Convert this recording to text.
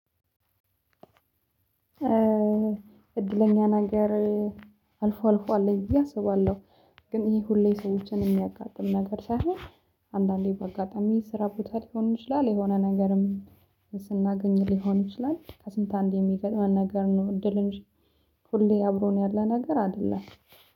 እድለኛ ነገር አልፎ አልፎ አለኝ ብዬ ኣሰባለሁ። ግን ይሄ ሁሌ ሰዎችን የሚያጋጥም ነገር ሳይሆን አንዳንዴ በአጋጣሚ ስራ ቦታ ሊሆን ይችላል። የሆነ ነገርም ስናገኝ ሊሆን ይችላል። ከስንት አንድ የሚገጥመን ነገር ነው። እድል እንጂ ሁሌ አብሮን ያለ ነገር አይደለም